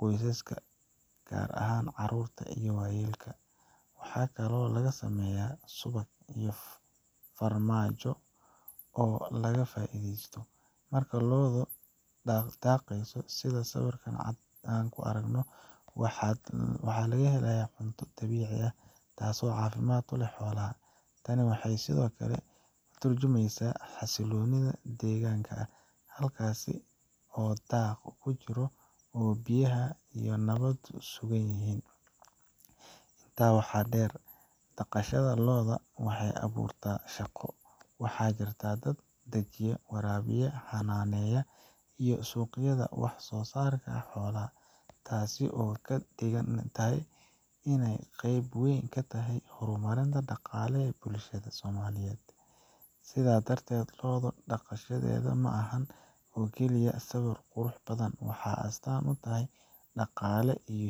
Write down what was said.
qoysaska, gaar ahaan carruurta iyo waayeelka. Waxaa kaloo laga sameeyaa subag iyo farmaajo oo laga faa’iidaysto. Marka lo’du daaqayso sida sawirka ku cad, waxay helaysaa cunto dabiici ah, taasoo caafimaad u ah xoolaha. Tani waxay sidoo kale ka tarjumaysaa xasillooni deegaanka ah, halkaas oo daaq uu ka jiro oo biyaha iyo nabaddu sugan yihiin. Intaa waxaa dheer, dhaqashada lo’da waxay abuurtaa shaqo waxaa jira dad daajiya, waraabiya, xanaaneya, iyo suuqgeeya wax soo saarka xoolaha. Taasi waxay ka dhigaysaa inay qayb weyn ka tahay horumarka dhaqaale ee bulshadeena. Sidaa darteed, lo’ daaqaysa ma ahan oo keliya sawir qurux badan, waa astaan nololeed, dhaqaale